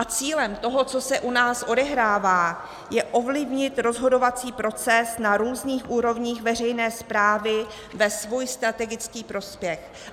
A cílem toho, co se u nás odehrává, je ovlivnit rozhodovací proces na různých úrovních veřejné správy ve svůj strategický prospěch.